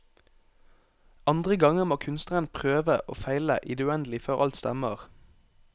Andre ganger må kunstneren prøve og feile i det uendelige før alt stemmer.